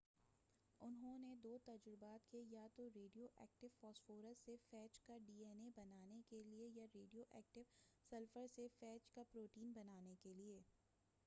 انہوں نے دو تجربات کئے یا تو ریڈیو ایکٹیو فاسفورس سے فیج کا ڈی آین اے بنانے کے لئے یا ریڈیو ایکٹیو سلفر سے فیج کا پروٹین بنانے کے لئے